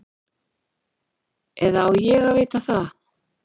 Eða á ég að vita það?